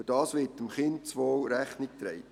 Dadurch wird dem Kindeswohl Rechnung getragen.